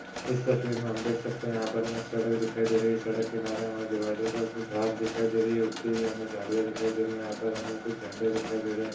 इस तस्वीर मे हम देख सकते है। यहा पर हुमे सड़क दिखाई दे रही है। सड़क किनारे हमें डीवायडर पे कुछ घास दिखाई दे रही है उगती हुए झाडिया दिखाई दे रही है। यहा पर कुछ झंडे दिखाई दे रहे है।